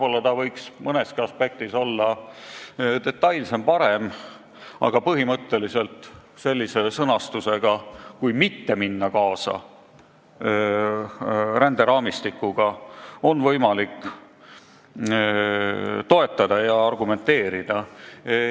See võiks mõneski aspektis olla detailsem ja parem, aga põhimõtteliselt on võimalik sellist sõnastust toetada ja argumenteerida, kui ränderaamistikuga mitte kaasa minna.